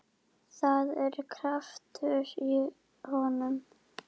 Það er kraftur í honum.